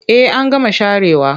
Eh an gama sharewa.